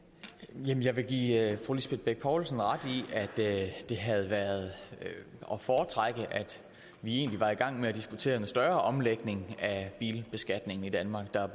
jamen jeg vil give fru lisbeth bech poulsen ret i at det egentlig havde været at foretrække at vi var i gang med at diskutere en større omlægning af bilbeskatning i danmark der